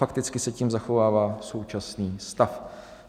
Fakticky se tím zachovává současný stav.